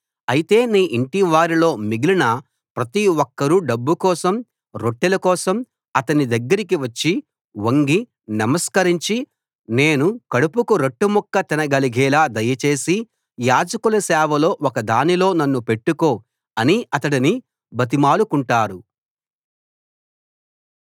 అయితే నీ ఇంటివారిలో మిగిలిన ప్రతి ఒక్కరూ డబ్బుకోసం రొట్టెల కోసం అతని దగ్గరికి వచ్చి వంగి నమస్కరించి నేను కడుపుకు రొట్టెముక్క తినగలిగేలా దయచేసి యాజకుల సేవల్లో ఒకదానిలో నన్ను పెట్టుకో అని అతడిని బతిమాలుకుంటారు